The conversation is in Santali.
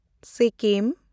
ᱥᱤᱠᱤᱢ